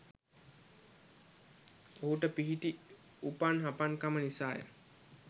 ඔහුට පිහිටි උපන් හපන්කම නිසාය.